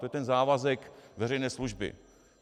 To je ten závazek veřejné služby.